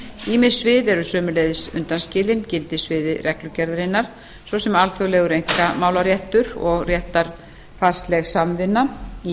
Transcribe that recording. ýmis svið eru sömuleiðis undanskilin gildissviði reglugerðarinnar svo sem alþjóðlegur einkamálaréttur og réttarfarsleg samvinna í